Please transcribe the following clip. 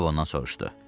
Aha o ondan soruşdu.